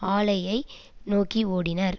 ஆலையை நோக்கி ஓடினர்